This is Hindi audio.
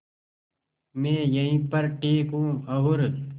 मैं यहीं पर ठीक हूँ और